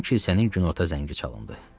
Birdən kilsənin günorta zəngi çalındı.